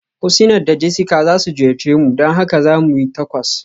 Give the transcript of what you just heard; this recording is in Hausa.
Husniat da Jessica za su ziyarce mu, don haka za mu yi Tacos.